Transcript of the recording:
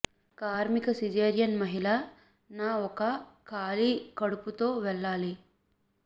కార్మిక సిజేరియన్ మహిళ న ఒక ఖాళీ కడుపు తో వెళ్ళాలి